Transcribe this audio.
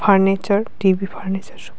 Furniture TV furniture.